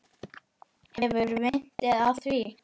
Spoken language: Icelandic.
Ykkar vinir, Alda og Bára.